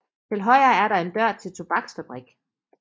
Til højre er der en dør til tobaksfabrik